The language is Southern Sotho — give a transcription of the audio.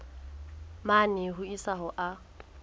mane ho isa ho a